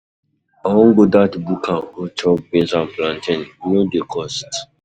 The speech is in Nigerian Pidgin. I wan go dat buka go chop beans and plantain, e no dey cost.